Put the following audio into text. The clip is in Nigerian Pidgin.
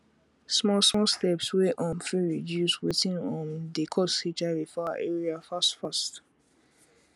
small small steps wey um fit reduce watin um dey cause hiv for our area fast fast